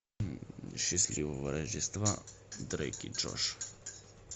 счастливого рождества дрейк и джош